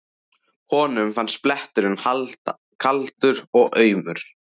Honum fannst bletturinn kaldur og aumur.